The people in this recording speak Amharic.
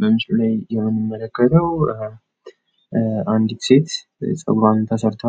በምስሉ ላይ የምንመለከተው አንዲት ሴት ፀጉሯን ተሠርታ